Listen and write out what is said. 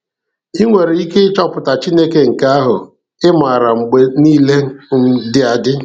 ị nwere ike ịchọpụta Chineke nke ahụ ị maara mgbe niile um dị adị.